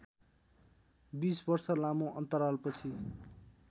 २० वर्ष लामो अन्तरालपछि